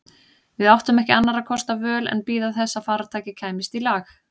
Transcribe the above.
Við áttum ekki annarra kosta völ en að bíða þess að farartækið kæmist í lag.